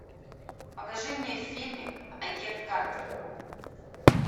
покажи мне фильмик агент картер